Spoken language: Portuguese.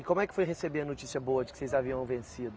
E como é que foi receber a notícia boa de que vocês haviam vencido?